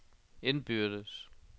indbyrdes